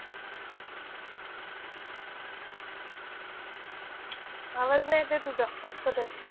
आवाज नाही येत आहे तुझा. कट होतोय.